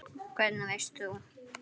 Hvernig veist þú?